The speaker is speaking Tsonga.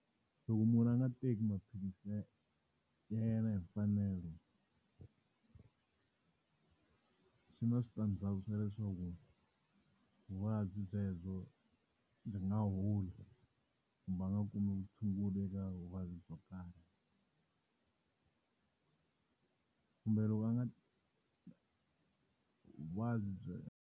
Loko munhu a nga teki maphilisi ya ya yena hi mfanelo swi na switandzhaku swa leswaku, vuvabyi byebyo ndzi nga holi kumbe a nga kumi vutshunguri eka vuvabyi byo karhi. Kumbe loko a nga vuvabyi .